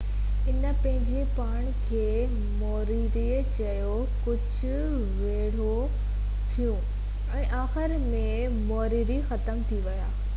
انهن پنهنجي پاڻ کي موريري چيو ڪجهہ ويڙهون ٿيون ۽ آخر ۾ موريري ختم ٿي ويا